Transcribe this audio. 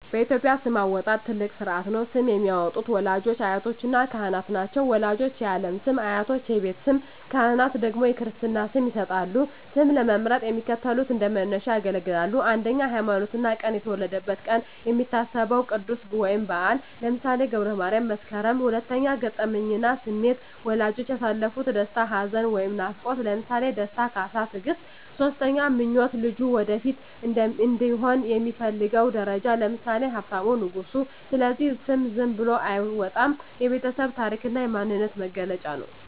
በኢትዮጵያ ስም አወጣጥ ትልቅ ሥርዓት ነው። ስም የሚያወጡት ወላጆች፣ አያቶችና ካህናት ናቸው። ወላጆች የዓለም ስም፣ አያቶች የቤት ስም፣ ካህናት ደግሞ የክርስትና ስም ይሰጣሉ። ስም ለመምረጥ የሚከተሉት እንደ መነሻ ያገለግላሉ 1)ሃይማኖትና ቀን የተወለደበት ቀን የሚታሰበው ቅዱስ ወይም በዓል (ለምሳሌ ገብረ ማርያም፣ መስከረም)። 2)ገጠመኝና ስሜት ወላጆች ያሳለፉት ደስታ፣ ሐዘን ወይም ናፍቆት (ለምሳሌ ደስታ፣ ካሳ፣ ትግስት)። 3)ምኞት ልጁ ወደፊት እንዲሆን የሚፈለገው ደረጃ (ለምሳሌ ሀብታሙ፣ ንጉሱ)። ስለዚህ ስም ዝም ብሎ አይወጣም፤ የቤተሰብ ታሪክና የማንነት መገለጫ ነው።